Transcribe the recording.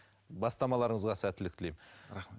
бастамаларыңызға сәттілік тілеймін рахмет